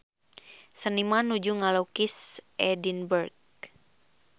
Seniman nuju ngalukis Edinburg